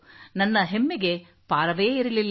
ನನ್ನ ಹೆಮ್ಮೆಗೆ ಪಾರವೇ ಇರಲಿಲ್ಲ